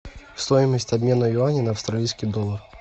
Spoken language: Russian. стоимость обмена юаней на австралийский доллар